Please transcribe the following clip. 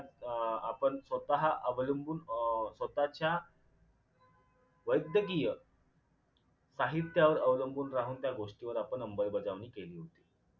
अं आपण स्वतः अवलंबून अं स्वतःच्या वैद्यकीय साहित्यावर अवलंबून राहून त्या गोष्टीवर आपण अंबलबजावणी केली होती